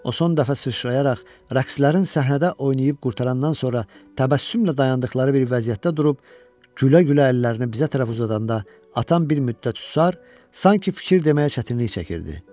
O son dəfə sıçrayaraq, rəqslərin səhnədə oynayıb qurtarandan sonra təbəssümlə dayandıqları bir vəziyyətdə durub gülə-gülə əllərini bizə tərəf uzadanda atam bir müddət susar, sanki fikir deməyə çətinlik çəkirdi.